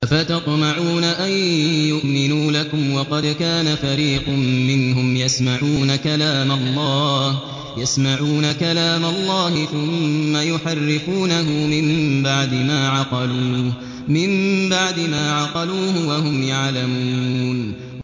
۞ أَفَتَطْمَعُونَ أَن يُؤْمِنُوا لَكُمْ وَقَدْ كَانَ فَرِيقٌ مِّنْهُمْ يَسْمَعُونَ كَلَامَ اللَّهِ ثُمَّ يُحَرِّفُونَهُ مِن بَعْدِ مَا عَقَلُوهُ وَهُمْ يَعْلَمُونَ